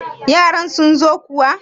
yaran sun zo kuwa!